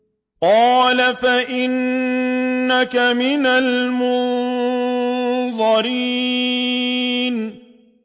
قَالَ فَإِنَّكَ مِنَ الْمُنظَرِينَ